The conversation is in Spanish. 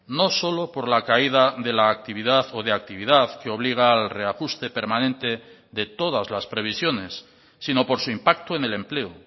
no solo por la caída de la actividad o de actividad que obliga al reajuste permanente de todas las previsiones sino por su impacto en el empleo